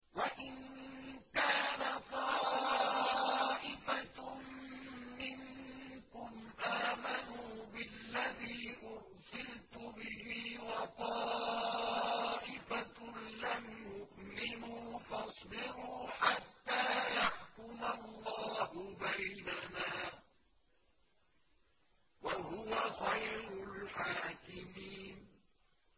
وَإِن كَانَ طَائِفَةٌ مِّنكُمْ آمَنُوا بِالَّذِي أُرْسِلْتُ بِهِ وَطَائِفَةٌ لَّمْ يُؤْمِنُوا فَاصْبِرُوا حَتَّىٰ يَحْكُمَ اللَّهُ بَيْنَنَا ۚ وَهُوَ خَيْرُ الْحَاكِمِينَ